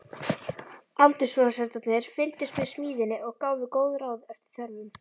Aldursforsetarnir fylgdust með smíðinni og gáfu góð ráð eftir þörfum.